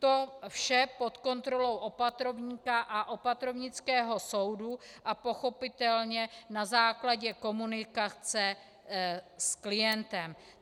To vše pod kontrolou opatrovníka a opatrovnického soudu a pochopitelně na základě komunikace s klientem.